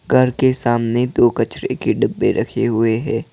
घर के सामने दो कचरे के डिब्बे रखे हुए है।